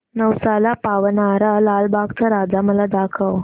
नवसाला पावणारा लालबागचा राजा मला दाखव